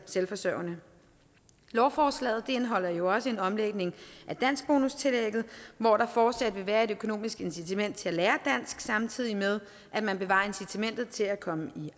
selvforsørgende lovforslaget indeholder jo også en omlægning af danskbonustillægget hvor der fortsat vil være et økonomisk incitament til at lære dansk samtidig med at man bevarer incitamentet til at komme i